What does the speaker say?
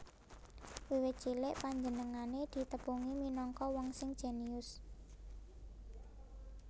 Wiwit cilik panjenengané ditepungi minangka wong sing jenius